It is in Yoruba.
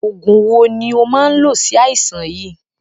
Oògùn wo ni ó máa ń lò si aisan yìí?